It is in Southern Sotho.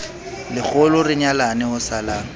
lekgolo re nyalane ho salang